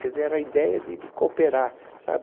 Quer dizer, era a ideia de de cooperar, sabe?